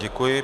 Děkuji.